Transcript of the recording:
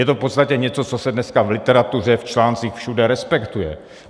Je to v podstatě něco, co se dneska v literatuře, v článcích, všude respektuje.